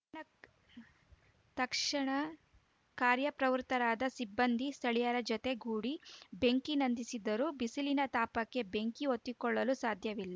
ತಕ್ ತಕ್ಷಣ ಕಾರ್ಯ ಪ್ರವೃತ್ತರಾದ ಸಿಬ್ಬಂದಿ ಸ್ಥಳೀಯರ ಜತೆಗೂಡಿ ಬೆಂಕಿ ನಂದಿಸಿದರು ಬಿಸಿಲಿನ ತಾಪಕ್ಕೆ ಬೆಂಕಿ ಹೊತ್ತಿಕೊಳ್ಳಲು ಸಾಧ್ಯವಿಲ್ಲ